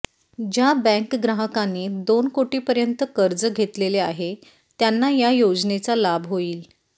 ज्या बॅंक ग्राहकांनी दोन कोटीपर्यंत कर्ज घेतलेले आहे त्यांना या योजनेचा लाभ होईल